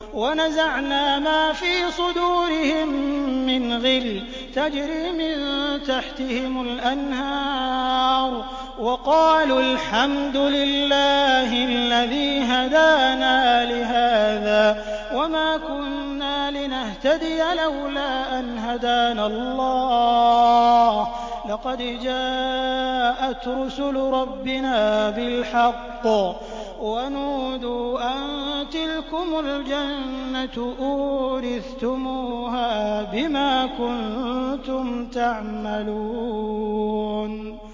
وَنَزَعْنَا مَا فِي صُدُورِهِم مِّنْ غِلٍّ تَجْرِي مِن تَحْتِهِمُ الْأَنْهَارُ ۖ وَقَالُوا الْحَمْدُ لِلَّهِ الَّذِي هَدَانَا لِهَٰذَا وَمَا كُنَّا لِنَهْتَدِيَ لَوْلَا أَنْ هَدَانَا اللَّهُ ۖ لَقَدْ جَاءَتْ رُسُلُ رَبِّنَا بِالْحَقِّ ۖ وَنُودُوا أَن تِلْكُمُ الْجَنَّةُ أُورِثْتُمُوهَا بِمَا كُنتُمْ تَعْمَلُونَ